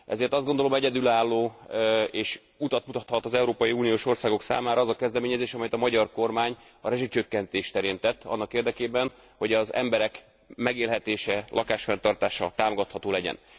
Ezért azt gondolom, hogy egyedülálló, és utat mutathat az európai uniós országok számára az a kezdeményezés, amelyet a magyar kormány a rezsicsökkentés terén tett annak érdekében, hogy az emberek megélhetése, lakásfenntartása támogatható legyen.